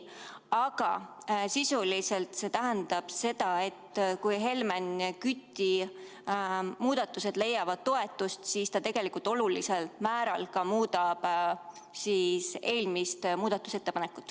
Aga sisuliselt see tähendab seda, et kui Helmen Küti muudatuseettepanekud leiavad toetust, siis see tegelikult olulisel määral muudab eelmist muudatusettepanekut.